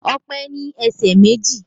Ọpẹ́ ní ẹsẹ̀ méjì